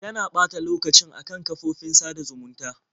Tana ɓata lokacin a kan kafofofin sada zumunta.